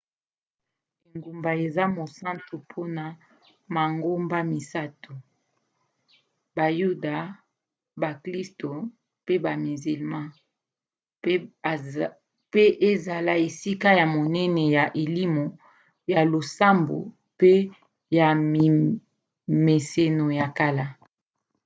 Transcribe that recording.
engumba eza mosantu mpona mangomba misato - bayuda baklisto pe bamizlma mpe ezala esika ya monene ya elimo ya losambo mpe ya mimeseno ya kala